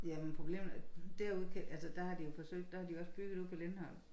Jamen problemet er derude der har de jo forsøgt der har de jo også bygget ude på Lindholm